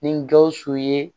Ni gawusu ye